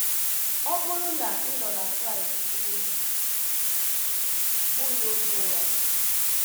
Ọ bụrụ na ị nọ na Kraịst ị bụghị onye ụgha.